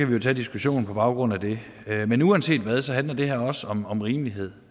vi tage diskussionen på baggrund af den men uanset hvad handler det her også om om rimelighed